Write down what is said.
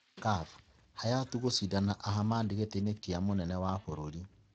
CAF: Hayatou gucindana na Ahmad gĩtiini kia mũnene wa bũrũri